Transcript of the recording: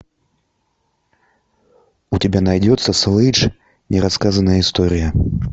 у тебя найдется слэдж нерассказанная история